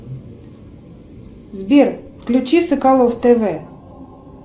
сбер включи соколов тв